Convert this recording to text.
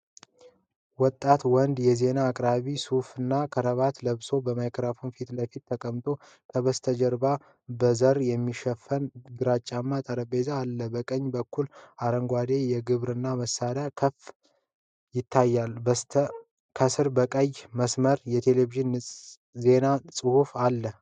ወጣት ወንድ የዜና አቅራቢ ሱፍና ክራቫት ለብሶ በማይክራፎን ፊት ለፊት ተቀምጧል። ከበስተጀርባ በዘር የሚሸፈን ግራጫማ ጠረጴዛ አለ። ከቀኝ በኩል አረንጓዴ የግብርና መሣሪያ ክፍል ይታያል። ከስር በቀይ መስመር የቴሌቪዥን ዜና ጽሁፍ አለ።